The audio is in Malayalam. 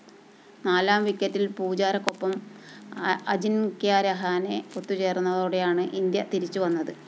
നാലാം വിക്കറ്റില്‍ പൂജാരക്കൊപ്പം അജിന്‍ക്യ രഹാനെ ഒത്തുചേര്‍ന്നതോടെയാണ് ഇന്ത്യ തിരിച്ചുവന്നത്